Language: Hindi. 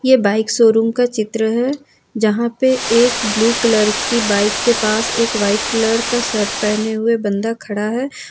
ये बाइक शो रूम का चित्र है जहां पे एक ब्लू कलर की बाइक के पास एक वाइट कलर का शर्ट पहने हुए बंदा खड़ा है।